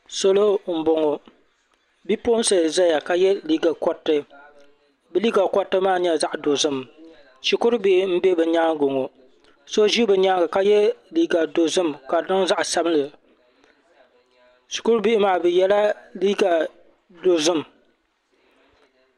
Solo m boŋɔ bipuɣinsi n zaya ka ye liiga koriti bɛ liiga koriti maa nyɛla zaɣa dozim shikuru bihi m be bɛ nyaanga ŋɔ so ʒi be nyaanga ka ye liiga dozim ka di niŋ zaɣa sabinli shikuru bihi maa bɛ yela liiga dozim.